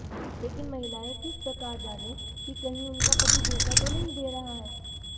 लेकिन महिलाएं किस प्रकार जानें कि कहीं उनका पति धोखा तो नहीं दे रहा है